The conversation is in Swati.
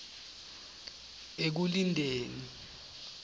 ekulindeni